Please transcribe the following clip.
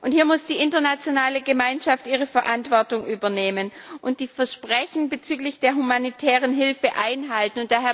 Hier muss die internationale Gemeinschaft ihre Verantwortung übernehmen und die Versprechen bezüglich der humanitären Hilfe einhalten.